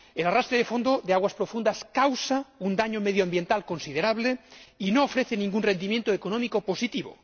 El arrastre de fondo de aguas profundas causa un daño medioambiental considerable y no ofrece ningún rendimiento económico positivo.